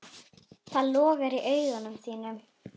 Það logar í augum þínum.